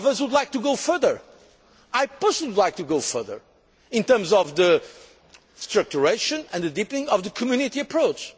Some of us would like to go further. I personally would like to go further in terms of the structuring and the deepening of the Community approach.